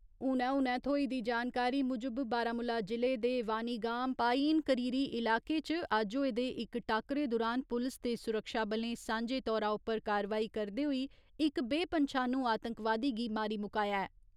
हूनै हूनै थ्होई दी जानकारी मुजब, बारामूला जि'ले दे वानीगाम पायीन करीरी इलाके च अज्ज होए दे इक टाक्करे दुरान पुलस ते सुरक्षाबलें सांझे तौरा उप्पर कार्रवाई करदे होई इक बेपन्छानू आतंकवादी गी मारी मुकाया ऐ।